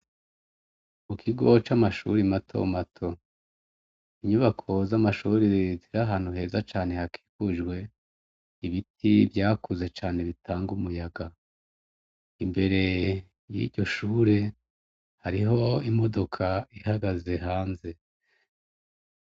Mukigo c'amashure matomato; inyubako zamashure ziri ahantu heza cane hakikujwe ibiti vyakunze cane bitanga umuyaga. Imbere yiryo shure hariho imodoka ihagaze hanze.